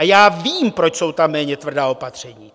A já vím, proč jsou tam méně tvrdá opatření.